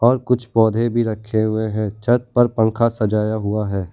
और कुछ पौधे भी रखें हुए हैं छत पर पंखा सजाया हुआ है।